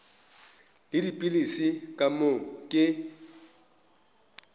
le dipilisi ka moo ke